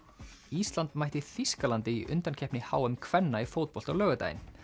ísland mætti Þýskalandi í undankeppni h m kvenna í fótbolta á laugardaginn